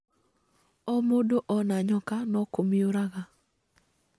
O mũndũ ona nyoka no kũmĩũraga